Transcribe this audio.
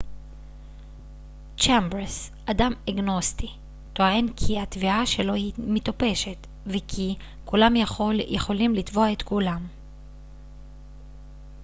צ'מברס אדם אגנוסטי טוען כי התביעה שלו היא מטופשת וכי כולם יכולים לתבוע את כולם